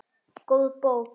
Góð bók.